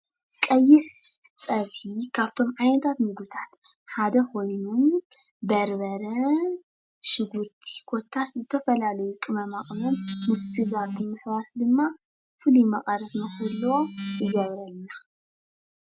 ቀይሕ ፀብሒ ካብቶም ዓይነታት ምግብታት ሓደ ኮይኑ በርበረ ፣ሽጉርቲ ኮታስ ዝተፈላለዩ ቅመማቅመም ምስ ስጋ ብምሕዋስ ድማ ፍሉይ መቀረት ንኽህልዎ ይገብረልና።